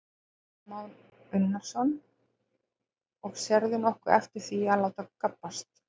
Kristján Már Unnarsson: Og sérðu nokkuð eftir því að láta gabbast?